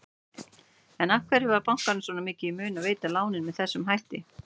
En af hverju var bankanum svona mikið í mun að veita lánin með þessum hætti?